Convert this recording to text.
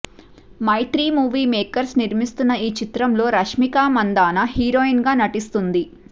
మైత్రి movie makers నిర్మిస్తున్న ఈ చిత్రంలో రష్మిక మందాన హీరోయిన్ గా నటిస్తుంది